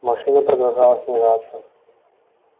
машина продолжала снижаться